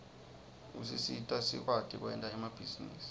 usisita sikwati kwenta emabhizinisi